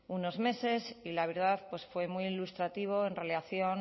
unos meses y la verdad pues fue muy ilustrativo en relación